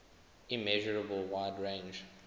immeasurable wide range